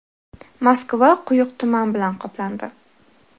Moskva quyuq tuman bilan qoplandi.